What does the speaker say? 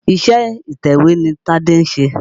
Iṣé atẹ̀wé ni Tádé ń ṣe.